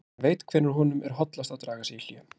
Hann veit hvenær honum er hollast að draga sig í hlé.